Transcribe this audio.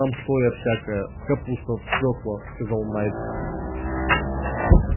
там соя всякая капуста свёкла сказал найд